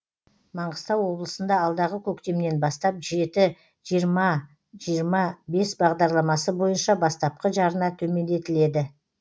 маңғыстау облысында алдағы көктемнен бастап жеті жиырма жиырма бес бағдарламасы бойынша бастапқы жарна төмендетіледі